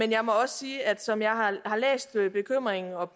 jeg må også sige at som jeg har læst bekymringen og